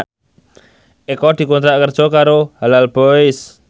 Eko dikontrak kerja karo Halal Boys